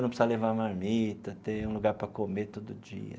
não precisar levar marmita, ter um lugar para comer todo dia.